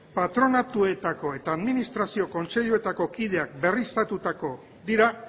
patronatuetako eta administrazio kontseiluetako kideak berriztatuko dira